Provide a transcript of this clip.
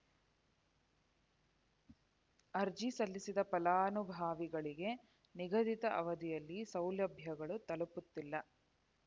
ಅರ್ಜಿ ಸಲ್ಲಿಸಿದ ಫಲಾನುಭವಿಗಳಿಗೆ ನಿಗದಿತ ಅವಧಿಯಲ್ಲಿ ಸೌಲಭ್ಯಗಳು ತಲುಪುತ್ತಿಲ್ಲ